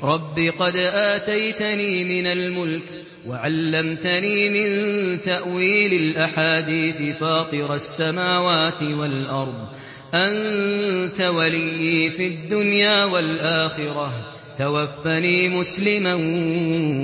۞ رَبِّ قَدْ آتَيْتَنِي مِنَ الْمُلْكِ وَعَلَّمْتَنِي مِن تَأْوِيلِ الْأَحَادِيثِ ۚ فَاطِرَ السَّمَاوَاتِ وَالْأَرْضِ أَنتَ وَلِيِّي فِي الدُّنْيَا وَالْآخِرَةِ ۖ تَوَفَّنِي مُسْلِمًا